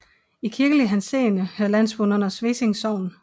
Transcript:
I kirkelig henseende hører landsbyen under Svesing Sogn